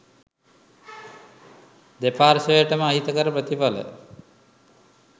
දෙපාර්ශවයටම අහිතකර ප්‍රතිඵල